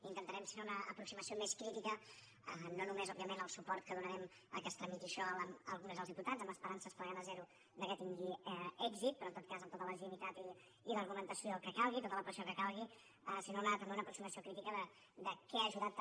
intentarem fer una aproximació més crítica no només òbviament al suport que donarem perquè es tramiti això al congrés dels diputats amb esperances fregant a zero que tingui èxit però en tot cas amb tota legitimitat i l’argumentació que calgui tota la pressió que calgui sinó també una aproximació crítica de què ha ajudat també